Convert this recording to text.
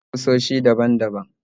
Muna da kusoshi daban daban